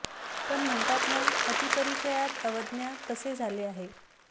पण म्हणतात ना अति परिचयात अवज्ञा तसे झाले आहे